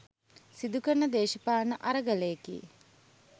සිදු කරන දේශපාලන අරගලයකි